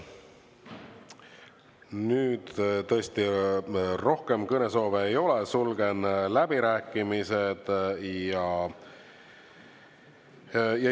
Nüüd tõesti rohkem kõnesoove ei ole, sulgen läbirääkimised.